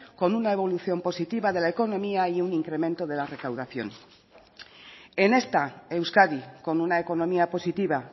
con una evolución positiva de la economía y un incremento de la recaudación en esta euskadi con una economía positiva